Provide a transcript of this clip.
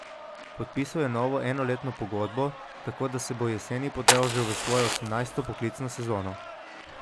Podpisal je novo enoletno pogodbo, tako da se bo jeseni podal že v svojo osemnajsto poklicno sezono.